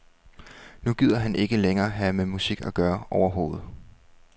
Nu gider han ikke længere have med musik at gøre overhovedet.